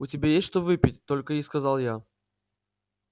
у тебя есть что выпить только и сказал я